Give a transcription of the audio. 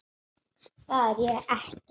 Það er ég ekki.